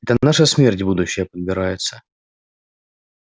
это наша смерть будущая подбирается